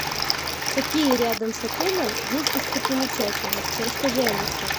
какие рядом с отелем есть достопримечательности расскажи алиса